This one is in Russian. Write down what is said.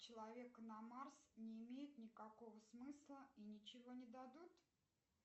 человек на марс не имеет никакого смысла и ничего не дадут